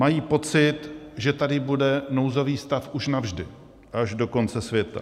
Mají pocit, že tady bude nouzový stav už navždy, až do konce světa.